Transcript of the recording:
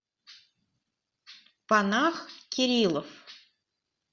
панах кириллов